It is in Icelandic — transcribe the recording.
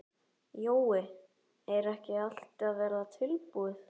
Jói, er ekki allt að verða tilbúið?